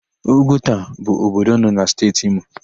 Ugwuta bụ obodo nọ na Steeti Imo.